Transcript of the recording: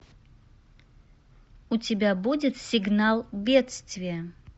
у тебя будет сигнал бедствия